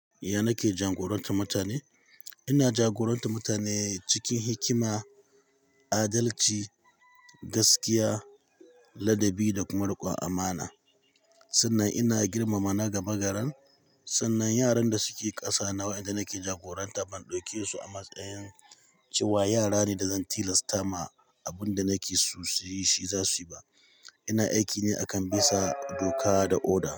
Ya nake jagorantar mutane? Ina jagorantar mutane cikin hikima, adalci, gaskiya, ladabi da kuma riƙon amana. Sannan ina girmama na gaba garan, sannan yaran da suke ƙasa na wa ƴanda nake jagoranta ban ɗauke su a matsayin cewa yara ne da zan tilasta ma abin da nake so su yi shi za su yi ba. Ina aiki ne akan bisa doka da oda.